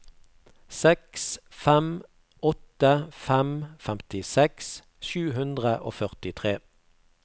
seks fem åtte fem femtiseks sju hundre og førtitre